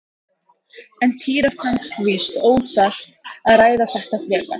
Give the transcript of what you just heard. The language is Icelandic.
En Týra fannst víst óþarft að ræða þetta frekar.